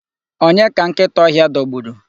Onye ka nkịta ọhịa dọgburu?